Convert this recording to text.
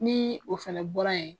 Ni o fana bɔra yen